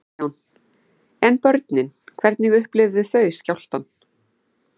Kristján: En börnin hvernig upplifðu þau skjálftann?